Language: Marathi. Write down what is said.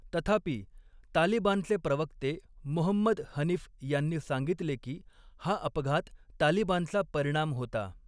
तथापि, तालिबानचे प्रवक्ते मुहम्मद हनिफ यांनी सांगितले की, हा अपघात तालिबानचा परिणाम होता.